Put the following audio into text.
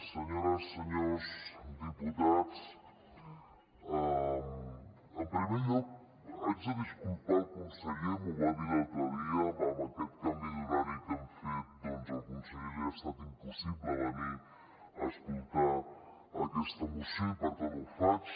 senyores senyors diputats en primer lloc haig de disculpar el conseller m’ho va dir l’altre dia amb aquest canvi d’horari que hem fet doncs al conseller li ha estat impossible venir a escoltar aquesta moció i per tant ho faig